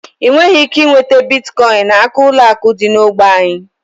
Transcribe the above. Ị nweghị ike nweta Biticoinu n'aka ụlọ akụ dị n'ógbè anyị.